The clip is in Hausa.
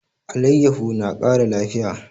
Alayyafo na kara lafiya